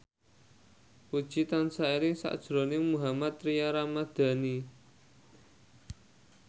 Puji tansah eling sakjroning Mohammad Tria Ramadhani